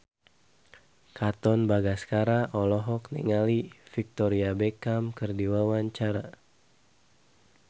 Katon Bagaskara olohok ningali Victoria Beckham keur diwawancara